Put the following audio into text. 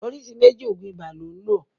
oríṣiríṣi méjì oògùn ibà lón lo.